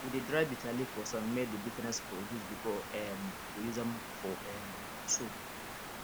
we dey dry bitterleaf for sun may the bitterness for reduce before um we use am for um soup